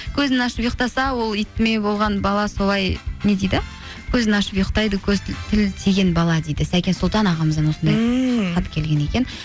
көзін ашып ұйықтаса ол итме болған бала солай не дейді көзін ашып ұйықтайды көз тіл тиген бала дейді сәкен сұлтан ағамыздан осындай ммм хат келген екен